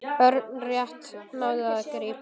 Örn rétt náði að grípa.